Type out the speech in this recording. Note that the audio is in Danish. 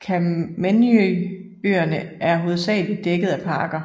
Kamennyj øerne er hovedsageligt dækket af parker